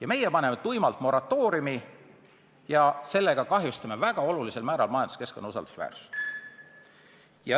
Aga meie paneme tuimalt moratooriumi ja sellega kahjustame olulisel määral majanduskeskkonna usaldusväärsust.